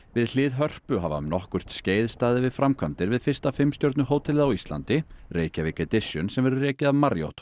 við hlið Hörpu hafa um nokkurt skeið staðið yfir framkvæmdir við fyrsta fimm stjörnu hótelið á Íslandi Reykjavík Edition sem verður rekið af Marriott